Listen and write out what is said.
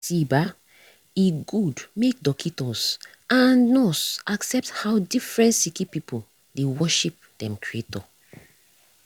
see bah e gud make dockitos and nurse accept how different sicki pipu dey worship dem creator